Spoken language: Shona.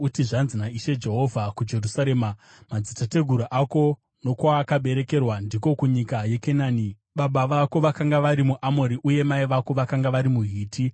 uti, ‘Zvanzi naIshe Jehovha kuJerusarema: Madzitateguru ako nokwaakaberekerwa ndiko kunyika yeKenani; baba vako vakanga vari muAmori uye mai vako vakanga vari muHiti.